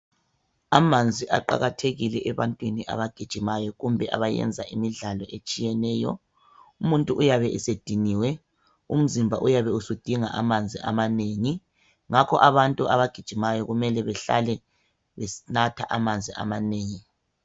Amanzi aqakathekile ebantwini abagijimayo kumbe abayenza imidlalo etshiyeneyo umuntu uyabe esediniwe umzimba uyabe usudinga amanzi amanengi ngakho abantu abagijimayo kumele behlale benatha amanzi amanengi.